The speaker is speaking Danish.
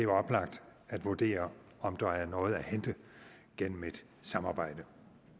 oplagt at vurdere om der er noget at hente gennem et samarbejde